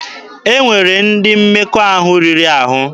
E nwere ndị mmekọahụ riri ahụ.